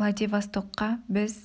владивостокқа біз